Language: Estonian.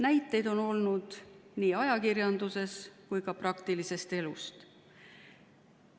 Näiteid on võtta nii ajakirjandusest kui ka praktilisest elust.